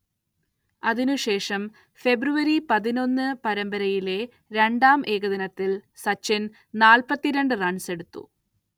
അതിനുശേഷം ഫെബ്രുവരി പതിനൊന്ന്ന് പരമ്പരയിലെ രണ്ടാം ഏകദിനത്തിൽ സച്ചിൻ നാല്പത്തി രണ്ട് റൺസെടുത്തു.